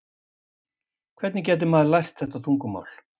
Hvernig gæti maður lært þetta tungumál?